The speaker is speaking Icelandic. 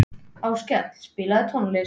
Áskell, spilaðu tónlist.